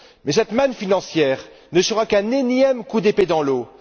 Mais cette manne financière ne sera qu'un énième coup d'épée dans l'eau.